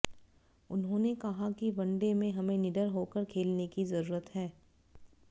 उन्होंने कहा कि वनडे में हमें निडर होकर खेलने की जरूरत है